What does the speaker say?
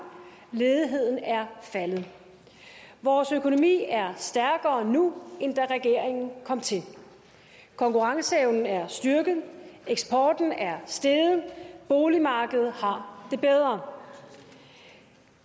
ledigheden er faldet vores økonomi er stærkere nu end da regeringen kom til konkurrenceevnen er styrket eksporten er steget og boligmarkedet har det bedre